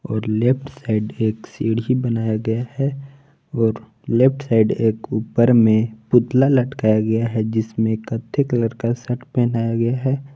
और left side सीढ़ी बनाया गया है और लेफ्ट साइड एक ऊपर में पुतला लटकाया गया है जिसमे कत्थे कलर का शट पहनाया गया है।